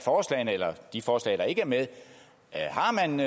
de forslag der ikke er med er man